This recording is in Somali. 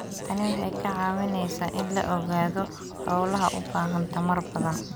Tani waxay kaa caawinaysaa in la ogaado hawlaha u baahan tamar badan.